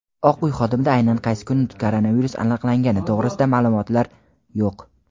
Oq uy xodimida aynan qaysi kuni koronavirus aniqlangani to‘g‘risida ma’lumotlar yo‘q.